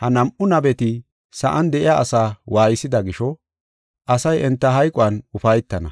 Ha nam7u nabeti sa7an de7iya asaa waaysida gisho asay enta hayquwan ufaytana.